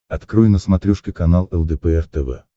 открой на смотрешке канал лдпр тв